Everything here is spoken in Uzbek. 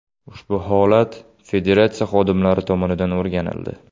Ushbu holat federatsiya xodimlari tomonidan o‘rganildi.